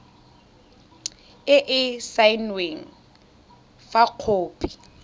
e e saenweng fa khopi